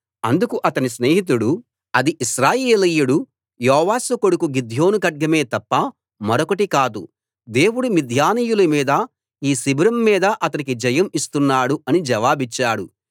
అందుకు అతని స్నేహితుడు అది ఇశ్రాయేలీయుడు యోవాషు కొడుకు గిద్యోను ఖడ్గమే తప్ప మరొకటి కాదు దేవుడు మిద్యానీయుల మీద ఈ శిబిరం మీద అతనికి జయం ఇస్తున్నాడు అని జవాబిచ్చాడు